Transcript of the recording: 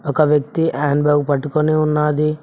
ఒక వ్యక్తి hand bag పట్టుకొని ఉన్నాది.